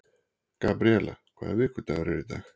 Gabríela, hvaða vikudagur er í dag?